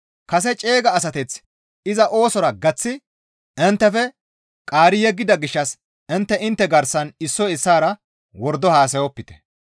Kase ceega asateth iza oosora gaththi inttefe qaari yeggida gishshas intte intte garsan issoy issaara wordo haasayopite.